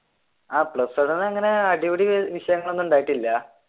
ആഹ് plus one ന്നു അങ്ങനെ അടിപിടി വിഷയങ്ങളൊന്നും ഉണ്ടായിട്ടില്ല.